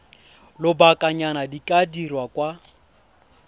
lobakanyana di ka dirwa kwa